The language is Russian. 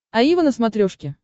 аива на смотрешке